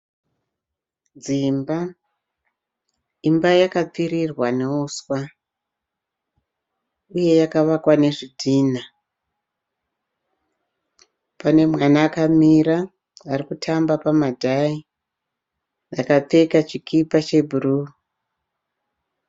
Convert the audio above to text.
Dzimba, imba yapfirirwa neusva uye yakavakwa nezvidhina. Pane mwana akamira arikutamba npamadhayi akapfeka chikipa che bhuruu.